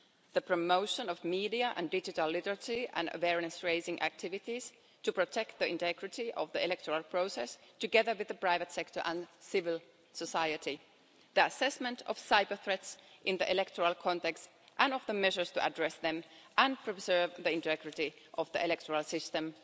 the promotion of media and digital literacy and awareness raising activities to protect the integrity of the electoral process, together with the private sector and civil society the assessment of cyber threats in the electoral context and of the measures to address them and preserve the integrity of the electoral system